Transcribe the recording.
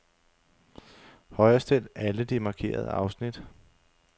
Højrestil alle de markerede afsnit.